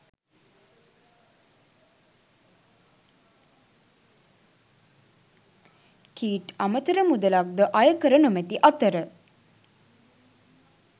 කීට් අමතර මුලක්ද අයකර නොමැති අතර